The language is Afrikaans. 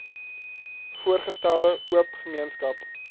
voorgestelde oop gemeenskap